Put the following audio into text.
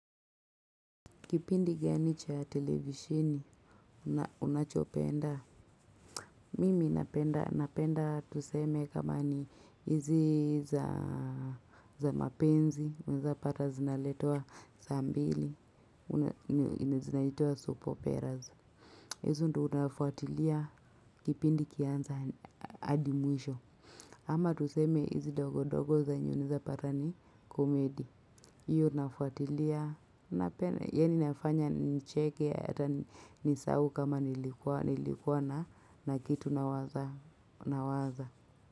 Kipindi gani cha televisheni, unachopenda, mimi napenda, napenda tuseme kama ni hizi za mapenzi, unaeza pata zinaletwa saa mbili, zinaitwa soap operas. Hizo ndo nafuatilia kipindi ikianza hadi mwisho. Ama tuseme hizi dogo dogo zenye unaeza pata ni komedi. Hiyo nafuatilia. Yaani inafanya nicheke hata nisahau kama nilikuwa na kitu nawaza.